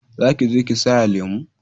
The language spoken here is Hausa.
Za ki je ki saya lemo